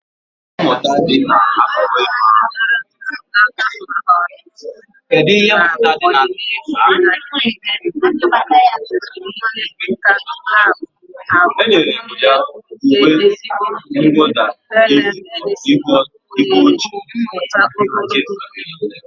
Ihe eji enyere ndụ aka na ọrụ n'ọdịnihu n'ime obodo ezumike nka ga-abụ ahụmịhe nke eziokwu, telemedicine, ohere mmụta ogologo ndụ.